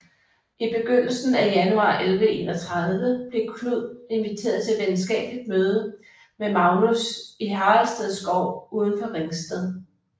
I begyndelsen af januar 1131 blev Knud inviteret til et venskabeligt møde med Magnus i Haraldsted Skov uden for Ringsted